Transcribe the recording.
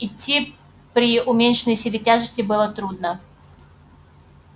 идти при уменьшенной силе тяжести было трудно